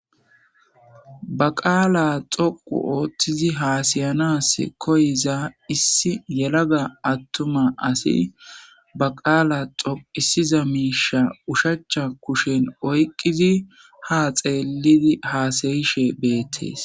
baqaala xoqu ooththizi haasayanas koyiza issi yelaga attuma asi baqaala xoqisiza miisha ushacha kushen oyqqizi ha xeelidi haasayishe beettees